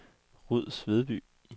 Ruds Vedby